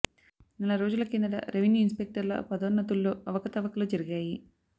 నెల రోజుల కిందట రెవెన్యూ ఇన్స్పెక్టర్ల పదోన్నతు ల్లో అవకతవకలు జరిగాయి